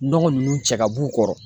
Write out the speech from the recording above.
Nɔgɔ ninnu cɛ ka b'u kɔrɔ.